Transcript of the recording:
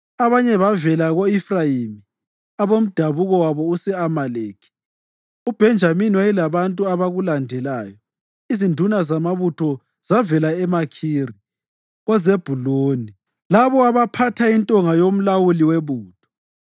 Abanye bavela ko-Efrayimi, abamdabuko wabo use-Amaleki; uBhenjamini wayelabantu abakulandelayo. Izinduna zamabutho zavela eMakhiri, koZebhuluni labo abaphatha intonga yomlawuli webutho.